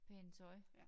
Pænt tøj